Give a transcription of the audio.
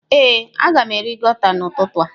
Ee, a ga m eri gauta n'ụtụtụ a.